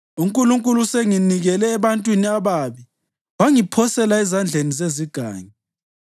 UNkulunkulu usenginikele ebantwini ababi wangiphosela ezandleni zezigangi.